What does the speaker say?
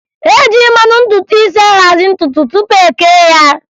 E ji mmanụ ntutu isi ahazị ntutu tụpụ e kee ya